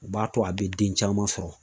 U b'a to a be den caman sɔrɔ.